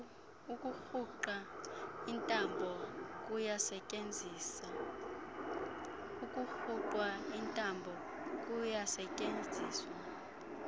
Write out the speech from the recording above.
kukurhuqa intambo kuyasetyenziswa